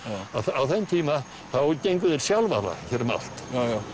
á þeim tíma þá gengu þeir sjálfala hér um allt